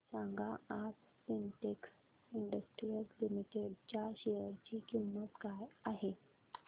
सांगा आज Sintex industries limited च्या शेअर ची किंमत काय आहे